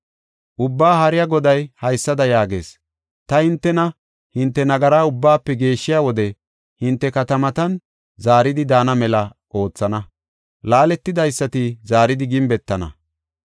Ubbaa Haariya Goday haysada yaagees: “Ta hintena, hinte nagaraa ubbaafe geeshshiya wode, hinte katamatan zaaridi daana mela oothana; laaletidaysati zaaridi gimbetana.